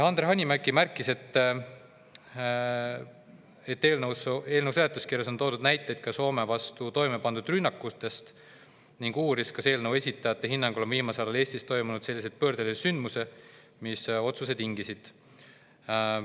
Andre Hanimägi märkis, et eelnõu seletuskirjas on toodud näiteid ka Soome vastu toime pandud rünnakutest, ning uuris, kas eelnõu esitajate hinnangul on viimasel ajal Eestis toimunud selliseid pöördelisi sündmusi, mis otsuse tingisid.